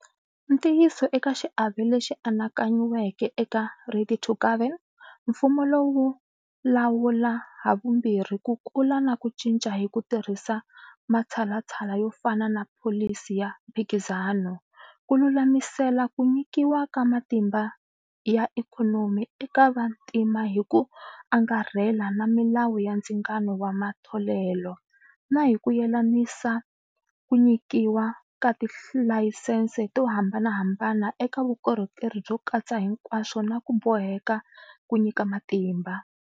Ntiyiso eka xiave lexi anakanyiweke eka 'Ready to Govern', mfumo wu lawula havumbirhi ku kula na ku cinca hi ku tirhisa matshalatshala yo fana na pholisi ya mphikizano, ku lulamisela ku nyikiwa ka matimba ya ikhonomi eka vantima hi ku angarhela na milawu ya ndzingano wa matholelo, na hi ku yelanisa ku nyikiwa ka tilayisense to hambanahambana eka vukorhokeri byo katsa hinkwaswo na ku boheka ku nyika matimba.